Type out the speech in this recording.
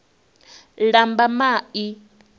lambamai